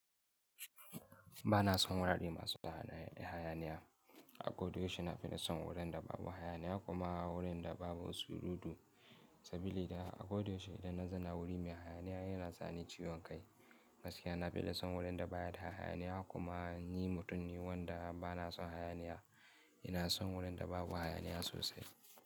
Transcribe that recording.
Ba na son wurare masu hayaniya. A ko da yaushe na fi son wuraren da babu hayaniya ku ma wurin da babu surutu. Sabili da a ko da yaushe idan na zauna wuri mai hayaniya ya na sa ni ciwon kai. Gaskiya na fi son wurin da baya da hayaniya kuma ni mutum ne wanda ba na son hayaniya, ina son wurin da babu hayaniya sosai.